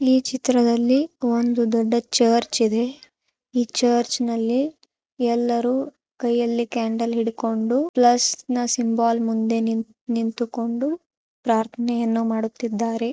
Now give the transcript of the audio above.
ಈ ಚಿತ್ರದಲ್ಲಿ ಒಂದು ದೊಡ್ಡ ಚರ್ಚ್ ಇದೆ ಈ ಚರ್ಚ್ನಲ್ಲಿ ಎಲ್ಲರೂ ಕೈಯಲ್ಲಿ ಕ್ಯಾಂಡಲ್ ಹಿಡಿದುಕೊಂಡು ಪ್ಲಸ್ ನ್ನ ಸಿಂಬಲ್ ಮುಂದೆ ನಿಂತುಕೊಂಡು ಪ್ರಾರ್ಥನೆ--